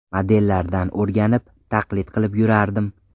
Modellardan o‘rganib, taqlid qilib yurardim.